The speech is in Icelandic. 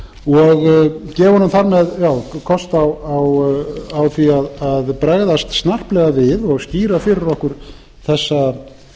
og gefa honum þannig kost á að bregðast snarplega við og skýra fyrir okkur þessa stefnu íslenskra